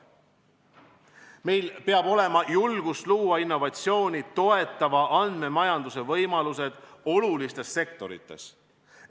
Meil peab olema julgust luua innovatsiooni toetava andmemajanduse võimalused olulistes sektorites.